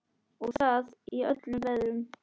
Og það í öllum veðrum.